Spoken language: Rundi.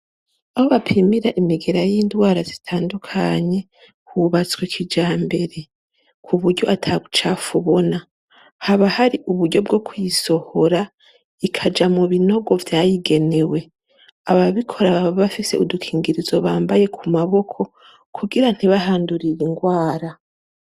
Aho bapimira imigera y'indwara zitandukanye, hubatswe kijambere. Ku buryo ata bucafu ubona. Haba hari uburyo bwo kuyisohora, ikaja mu binogo vyayigenewe. Ababikora baba bafise udukingirizo bambaye ku maboko, kugira ntibahandurire ingwara.